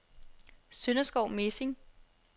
Sønderskov Mesing